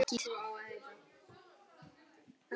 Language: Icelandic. Það var skítt.